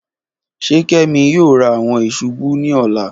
Ṣe kemi yoo ra awọn isubu ni ọla?